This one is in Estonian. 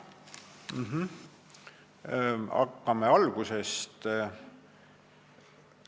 Hakkame algusest peale.